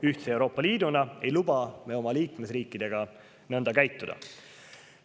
Ühtse Euroopa Liiduna ei luba me oma liikmesriikidega nõnda käituda.